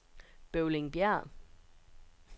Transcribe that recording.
Bøvlingbjerg